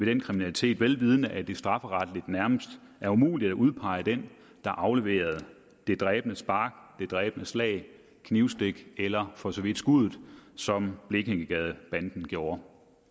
den kriminalitet vel vidende at det strafferetligt nærmest er umuligt at udpege den der afleverede det dræbende spark det dræbende slag eller knivstik eller for så vidt skud som blekingegadebanden gjorde